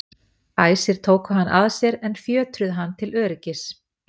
æsir tóku hann að sér en fjötruðu hann til öryggis